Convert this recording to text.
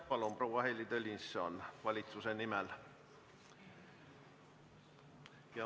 Palun, proua Heili Tõnisson, valitsuse nimel!